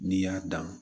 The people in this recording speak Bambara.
N'i y'a dan